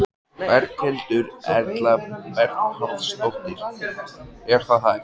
Berghildur Erla Bernharðsdóttir: Er það hægt?